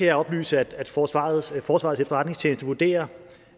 jeg oplyse at forsvarets at forsvarets efterretningstjeneste vurderer